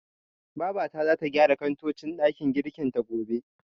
Babata zata gyara kantocin ɗakin girkin ta, gobe.